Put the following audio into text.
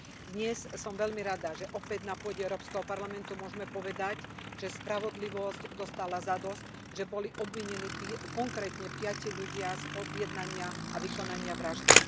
Dnes som veľmi rada, že opäť na pôde Európskeho parlamentu môžeme povedať, že spravodlivosť dostala zadosť, že boli obvinení konkrétne piati ľudia z objednania a vykonania vraždy.